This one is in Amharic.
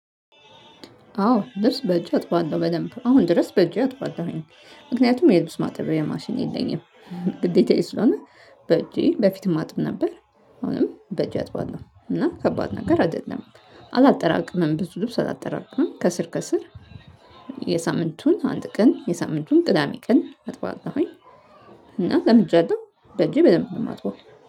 አዎ ልብስ በእጅ አጥባለሁ በደንብ አሁን ድረስ በእጅ አጥባለሁኝ ምክንያቱም የልብስ ማጠብያ ማሽን የለኝም። ግዴታዬ ስለሆነ በእጄ በፊትም አጥብ ነበር። አሁንም በእጄ አጥባለሁ እና ከባድ ነገር አይደለም። አላጠራቅምም ብዙ ልብስ አላጠራቅምም ከስር ከስር የሳምንቱን አንድ ቀን የሳምንቱን ቅዳሜ ቀን አጥባለሁኝ። እና ለምጃለሁ በጄ በደንብ ነው የማጥበው